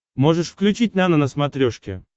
можешь включить нано на смотрешке